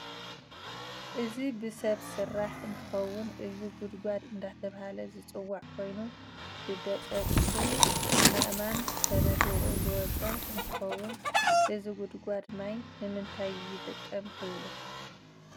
እዚ ብሰብ ስራሕ እንትውን እዚ ጉድጋድ እደተበሃለ ዝፅዋዕ ኮይኑ ብደቀቅት ኣእማን ተነድቁ ዝወፀ እንትከውን እዚ ግድጋድ ማይ ንምንታይ ይጠቅም ትብሉ?